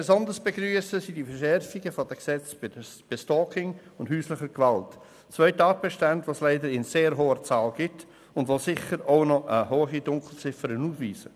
Besonders begrüssen wir die Verschärfung der Gesetze bei Stalking und häuslicher Gewalt, zwei Tatbeständen, die es leider in sehr hoher Zahl gibt und die darüber hinaus sicher noch eine hohe Dunkelziffer aufweisen.